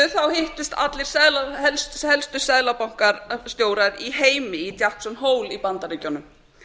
fyrir stuttu hittust allir helstu seðlabankastjórar í heimi í jackson hole í bandaríkjunum